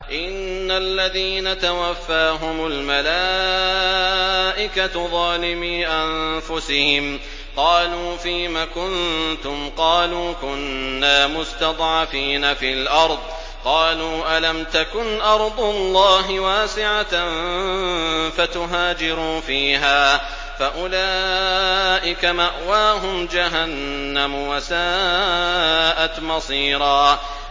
إِنَّ الَّذِينَ تَوَفَّاهُمُ الْمَلَائِكَةُ ظَالِمِي أَنفُسِهِمْ قَالُوا فِيمَ كُنتُمْ ۖ قَالُوا كُنَّا مُسْتَضْعَفِينَ فِي الْأَرْضِ ۚ قَالُوا أَلَمْ تَكُنْ أَرْضُ اللَّهِ وَاسِعَةً فَتُهَاجِرُوا فِيهَا ۚ فَأُولَٰئِكَ مَأْوَاهُمْ جَهَنَّمُ ۖ وَسَاءَتْ مَصِيرًا